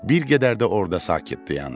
Bir qədər də orada sakit dayandı.